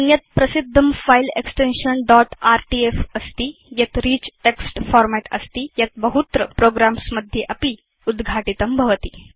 अन्यत् प्रसिद्धं file extension dot RTF अस्ति यत् रिच् टेक्स्ट् फॉर्मेट् अस्ति यत् बहुत्र प्रोग्राम्स् मध्ये अपि उद्घाटितं भवति